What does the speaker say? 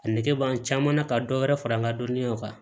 A nege b'an caman na ka dɔ wɛrɛ fara an ka dɔnniyaw kan